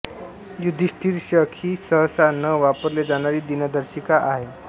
युधिष्ठिर शक ही सहसा न वापरले जाणारी दिनदर्शिका आहे